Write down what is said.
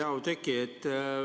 Hea Oudekki!